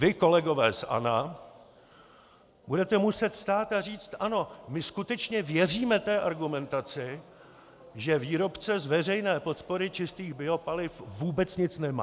Vy, kolegové z ANO, budete muset vstát a říci: Ano, my skutečně věříme té argumentace, že výrobce z veřejné podpory čistých biopaliv vůbec nic nemá.